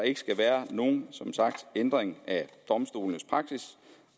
ikke skal være nogen ændring af domstolenes praksis